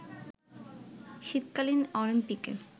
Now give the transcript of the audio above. শীতকালীন অলিম্পিকের